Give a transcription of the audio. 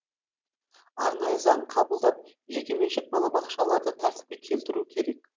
арнайы заң қабылдап жекеменшік балабақшаларды тәртіпке келтіру керек